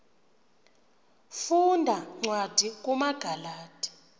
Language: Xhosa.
funda cwadi kumagalati